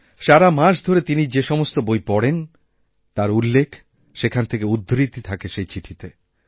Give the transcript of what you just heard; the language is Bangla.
সারা মাস ধরে তিনি যে সমস্ত বই পড়েন তার উল্লেখ সেখান থেকে উদ্ধৃতি থাকেসে চিঠিতে